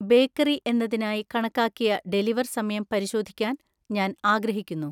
bakery എന്നതിനായി കണക്കാക്കിയ deliver സമയം പരിശോധിക്കാൻ ഞാൻ ആഗ്രഹിക്കുന്നു